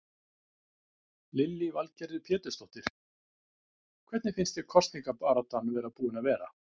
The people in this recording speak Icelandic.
Lillý Valgerður Pétursdóttir: Hvernig finnst þér kosningabaráttan búin að vera?